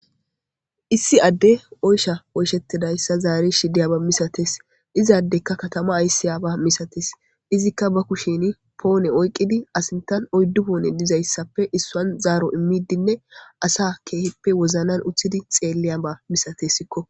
issi adde oysha oyshettidayssa zaari shidiyaba misates izaaddekka katama aysi yaaba misates izikka ba kushin poone oyqqidi asintan oyddu poone dizayssappe issan zaaro immidinne asa keehippe woznan uthidi xeelliya ba misatesikko